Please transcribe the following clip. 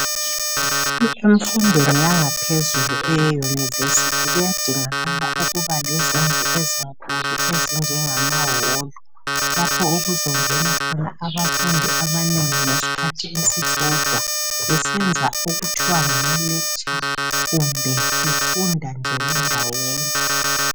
Emfundweni yangaphezulu eyeyunivesithi kuyadingakala ukuba lezindlu ezinkulu ezinjengama holu lapho okuzongena khona abafundi abanengi ngesikhathi esisodwa besenza okuthwa ngama lecture kumbe befunda nje bendawonye.